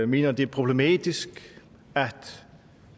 mener det er problematisk